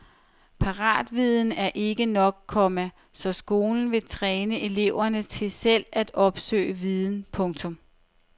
Paratviden er ikke nok, komma så skolen vil træne eleverne til selv at opsøge viden. punktum